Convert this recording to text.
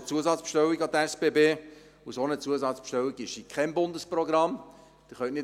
Es ist eine Zusatzbestellung an die SBB, und eine solche Zusatzbestellung ist in keinem Bundesprogramm enthalten.